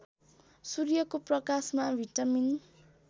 सूर्यको प्रकाशमा भिटामिन